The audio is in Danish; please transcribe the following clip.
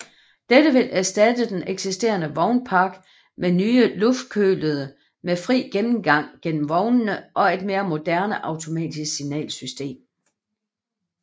Dette vil erstatte den eksisterende vognpark med nye luftkølede med fri gennemgang gennem vognene og et mere moderne automatisk signalsystem